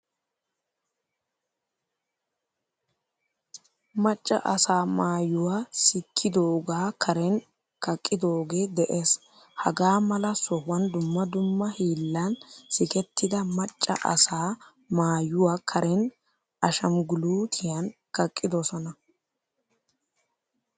Macca asaa maayuwaa sikkidoga Karen kaqqidoge de'ees. Hagaa mala sohuwan dumma dumma hiillan sikettida macca asaa maayuwaa Karen ashamgulutiyan kaqqidosona.